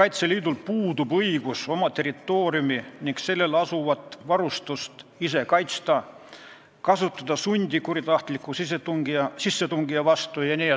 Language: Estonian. Kaitseliidul puudub õigus oma territooriumi ning sellel asuvat varustust ise kaitsta, kasutada sundi kuritahtliku sissetungija vastu jne.